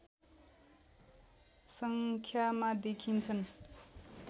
सङ्ख्यामा देखिन्छन्